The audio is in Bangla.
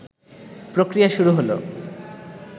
প্রক্রিয়া শুরু হল